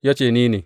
Ya ce, Ni ne.